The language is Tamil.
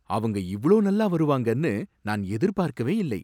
அவங்க இவ்ளோ நல்லா வருவாங்கன்னு நான் எதிர்பாக்கவே இல்லை.